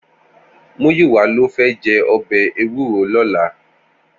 Muyiwa ló fè jè òbè éwúró lòlá